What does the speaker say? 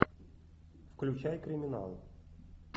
включай криминал